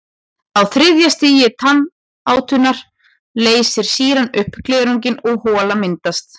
Á þriðja stigi tannátunnar leysir sýran upp glerunginn og hola myndast.